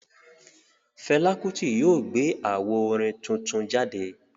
Fẹla Kuti yóò gbé awó orin tuntun jáde